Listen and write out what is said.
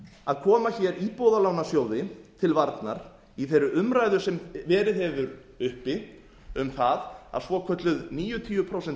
að koma hér íbúðalánasjóði til varnar í þeirri umræðu sem verið hefur uppi um það að svokölluð níutíu prósent lán